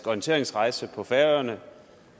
orienteringsrejse på færøerne